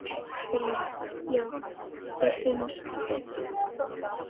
Brynja: Já þér finnst það betra?